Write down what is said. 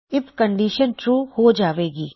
IF condition true ਹੋ ਜਾਵੇਗੀ